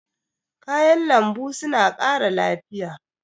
Kayan lambu suna ƙara lafiya.